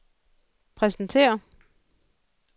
præsentere